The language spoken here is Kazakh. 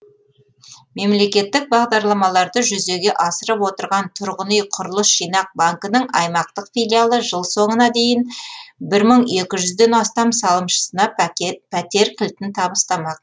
мемлекеттік бағдарламаларды жүзеге асырып отырған тұрғын үй құрылыс жинақ банкінің аймақтық филиалы жыл соңына дейін бір мың екі жүзден астам салымшысына пәтер кілтін табыстамақ